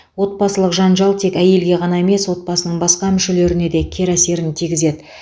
отбасылық жанжал тек әйелге ғана емес отбасының басқа мүшелеріне де кері әсерін тигізеді